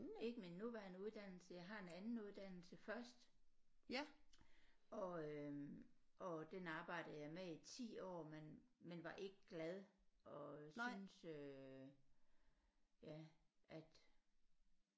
Ikke min nuværende uddannelse jeg har en anden uddannelse først og øh og den arbejdede jeg med i 10 år men men var ikke glad og synes øh ja at